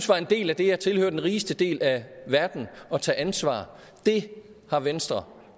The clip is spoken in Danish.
var en del af det at tilhøre den rigeste del af verden og tage ansvar har venstre